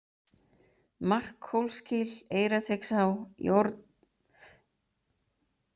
Markhólsgil, Eyrarteigsá, Járnhaushryggur, Nóngljúfur